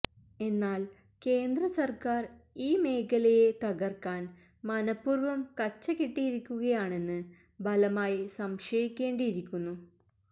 എന്നാല് കേന്ദ്ര സര്ക്കാര് ഈ മേഖലയെ തകര്ക്കാന് മനഃപൂര്വം കച്ചകെട്ടിയിരിക്കുകയാണെന്ന് ബലമായി സംശയിക്കേണ്ടിയിരിക്കുന്നു